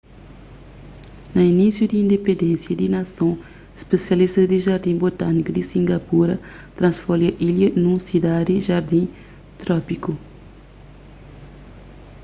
na inísiu di indipendénsia di nason spisialistas di jardin botâniku di singapura transforma ilha nun sidadi jardin trópiku